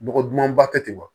Dɔgɔ dumanba tɛ ten wa